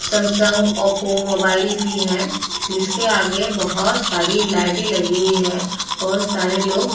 Samsung Oppo mobile की है जिसके आगे बोहोत सारी लाइटें लगी हुई हैं। बोहोत सारे लोग --